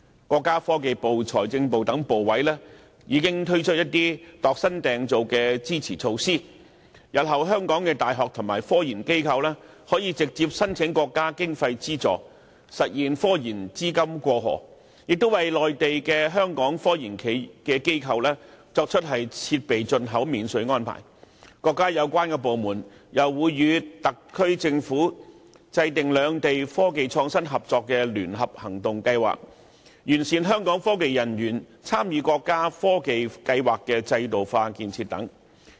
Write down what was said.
國家科技部、財政部等部委已經推出一些專為香港量身訂造的支持措施：香港的大學及科研中心日後可直接申請國家經費資助，實現科研資金"過河"；在內地的香港科技機構可享設備進口免稅安排；國家有關部門還會與特區政府制訂兩地科技創新合作的聯合行動計劃，以及完善香港科研人員參與國家科技計劃制度化建設等。